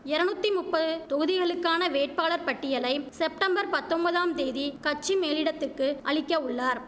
எரநுத்தி முப்பது தொகுதிகளுக்கான வேட்பாளர்ப் பட்டியலைம் செப்டம்பர் பத்தொம்பதாம் தேதி கட்சிமேலிடத்துக்கு அளிக்க உள்ளார்